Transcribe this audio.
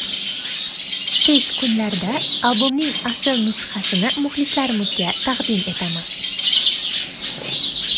Tez kunlarda albomning asl nusxasini muxlislarimizga taqdim etamiz.